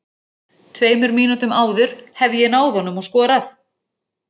Tveimur mínútum áður hefði ég náð honum og skorað.